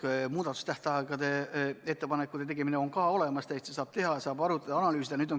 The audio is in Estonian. Muudatusettepanekute tegemise tähtaeg on olemas, täitsa saab ettepanekuid teha, saab asju arutada ja analüüsida.